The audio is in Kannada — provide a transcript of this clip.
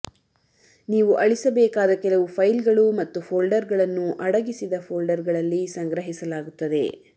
ನೀವು ಅಳಿಸಬೇಕಾದ ಕೆಲವು ಫೈಲ್ಗಳು ಮತ್ತು ಫೋಲ್ಡರ್ಗಳನ್ನು ಅಡಗಿಸಿದ ಫೋಲ್ಡರ್ಗಳಲ್ಲಿ ಸಂಗ್ರಹಿಸಲಾಗುತ್ತದೆ